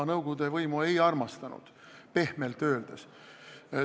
Ma nõukogude võimu ei armastanud, pehmelt öeldes.